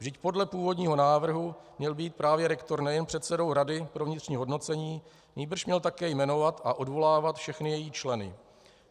Vždyť podle původního návrhu měl být právě rektor nejen předsedou rady pro vnitřní hodnocení, nýbrž měl také jmenovat a odvolávat všechny její členy.